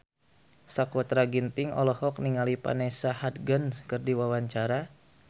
Sakutra Ginting olohok ningali Vanessa Hudgens keur diwawancara